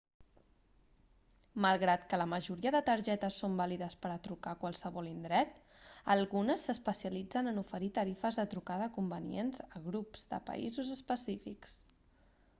malgrat que la majoria de targetes són vàlides per a trucar a qualsevol indret algunes s'especialitzen en oferir tarifes de trucada convenients a grups de països específics